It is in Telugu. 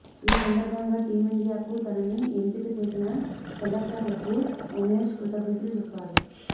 ఈ సందర్భంగా టీమ్ఇండియాకు తనని ఎంపిక చేసిన సెలెక్టర్లకు ఉమేశ్ కృతజ్ఞతలు చెప్పాడు